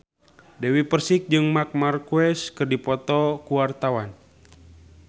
Dewi Persik jeung Marc Marquez keur dipoto ku wartawan